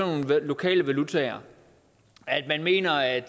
nogle lokale valutaer man mener at